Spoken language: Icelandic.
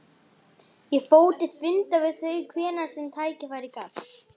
Ég fór til fundar við þau hvenær sem tækifæri gafst.